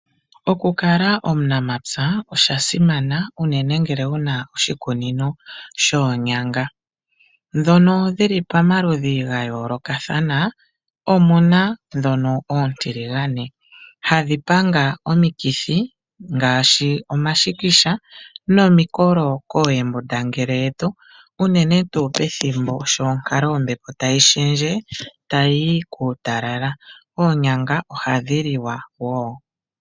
Okukala omunapya osha simana unene ngele wu na oshikunino shoonyanga. Ndhono dhi li pamaludhi ga yoolokathana. Omu na ndhono oontiligane, hadhi panga omikithi ngaashi omashikisha nomikolo koohembundangele yetu unene tuu pethimbo sho onkalo yombepo tayi shendje tayi yi kuutalala. Oonyanga ohadhi liwa wo.